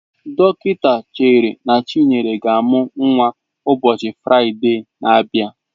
Dọkịta chere na Chinenye ga-amụ nnwa ụbọchị Fraịde na-abịa.